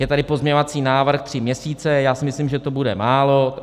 Je tady pozměňovací návrh tři měsíce, já si myslím, že to bude málo.